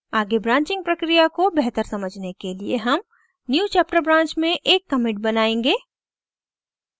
आगे branching प्रक्रिया को बेहतर समझने के लिए हम newchapter branch में एक commit बनाएंगे